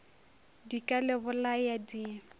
di ka le bolaya di